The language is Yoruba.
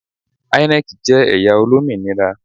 INEC jẹ ẹya olominira